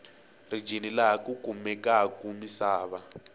rijini laha ku kumekaku misava